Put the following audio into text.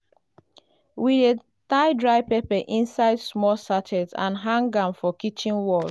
we dey tie dry pepper inside small sachet and hang am for kitchen wall.